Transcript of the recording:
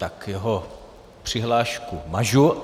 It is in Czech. Tak jeho přihlášku mažu.